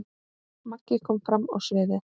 Maggi kom fram á sviðið.